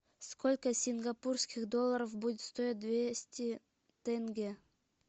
сколько сингапурских долларов будет стоить двести тенге